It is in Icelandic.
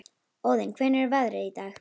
Óðinn, hvernig er veðrið í dag?